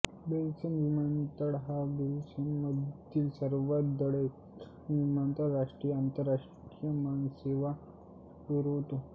Brussels विमानतळ हा बेल्जियममधील सर्वात वर्दळीचा विमानतळ राष्ट्रीय व आंतरराष्ट्रीय विमानसेवा पुरवतो